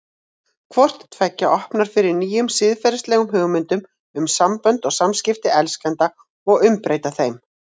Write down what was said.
Hvort tveggja opnar fyrir nýjum siðferðilegum hugmyndum um sambönd og samskipti elskenda og umbreyta þeim.